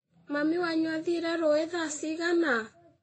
Mami wanyu athire rũũĩ thaa cigana?